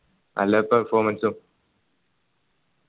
നല്ല performance ഉം